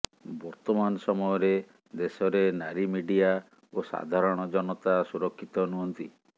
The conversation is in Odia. ବର୍ତ୍ତମାନ ସମୟରେ ଦେଶରେ ନାରୀ ମିଡିଆ ଓ ସାଧାରଣ ଜନତା ସୁରକ୍ଷିତ ନୁହଁନ୍ତି